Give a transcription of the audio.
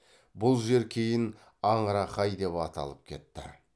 бұл жер кейін аңырақай деп аталып кетті